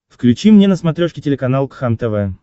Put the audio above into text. включи мне на смотрешке телеканал кхлм тв